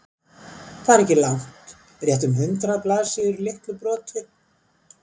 Það er ekki langt, rétt um hundrað blaðsíður í litlu broti.